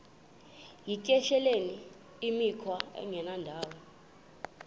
yityesheleni imikhwa engendawo